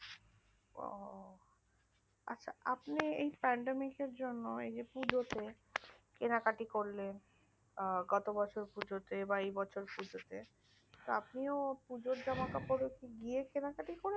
আচ্ছা আপনি pandemic জন্য এই যেপুজতে কিনা কাটা করলেন গত বছর পুজতেএই বছরপুজতেআপনি কি পুজর গিয়ে কেনা কাটি করলেন